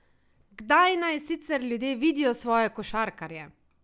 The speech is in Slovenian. Kdaj naj sicer ljudje vidijo svoje košarkarje?